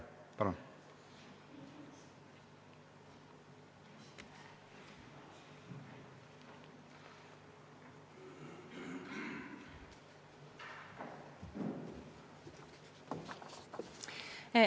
Jah, palun!